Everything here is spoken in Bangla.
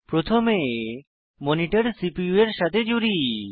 প্রথমে মনিটর সিপিইউ এর সাথে জুড়ি